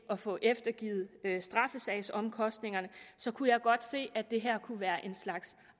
at få eftergivet straffesagsomkostningerne så kunne jeg godt se at det her kunne være en slags